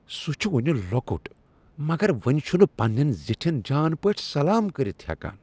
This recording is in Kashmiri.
سُہ چُھ ؤنہِ لۄکُٹ مگر ؤنہِ چُھنہٕ پنٛنین زِٹھین جان پٲٹھۍ سلام کٔرتھ ہیكان۔